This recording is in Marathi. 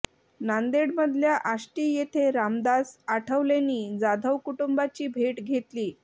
नांदेडमधल्या आष्टी येथे रामदास आठवलेंनी जाधव कुटुंबाची भेट घेतलीय